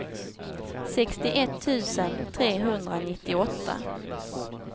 sextioett tusen trehundranittioåtta